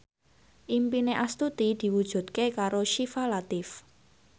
impine Astuti diwujudke karo Syifa Latief